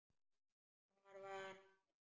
Hvar var hann fæddur?